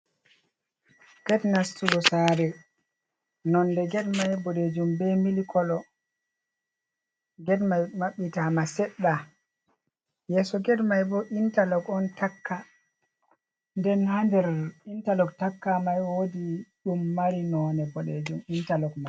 Ged nastugo sare nonde ged mai bodejum be milikolo. Ged mai mabbita ma seɗɗa, yeso ged mai bo interlog on takka nden hander interlog taka mai wodi ɗum mari nonde boɗejum interlog mai.